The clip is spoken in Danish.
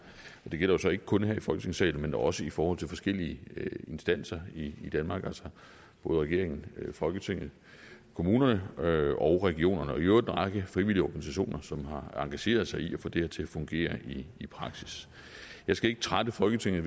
det gælder så ikke kun her i folketingssalen men også i forhold til de forskellige instanser i danmark altså både regeringen folketinget kommunerne og regionerne og i øvrigt en række frivillige organisationer som har engageret sig i at få det her til at fungere i praksis jeg skal ikke trætte folketinget